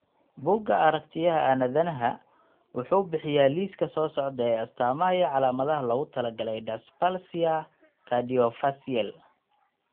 bugga aragtiyaha aanadanaha wuxuu bixiyaa liiska soo socda ee astamaha iyo calaamadaha loogu talagalay dysplasia Craniodiaphyseal.